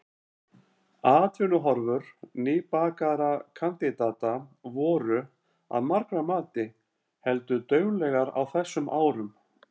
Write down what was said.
Atvinnuhorfur nýbakaðra kandidata voru, að margra mati, heldur dauflegar á þessum árum.